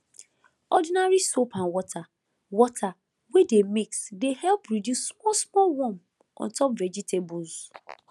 ordinary soap and water water wey dey mix dey help reduce small small worm on top vegetables